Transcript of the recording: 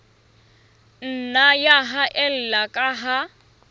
nna ya haella ka ha